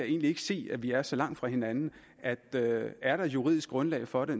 egentlig ikke se at vi er så langt fra hinanden er er der juridisk grundlag for det